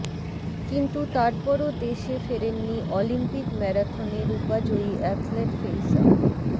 কিন্তু তারপরও দেশে ফেরেননি অলিম্পিক ম্যারাথনে রুপাজয়ী অ্যাথলেট ফেইসা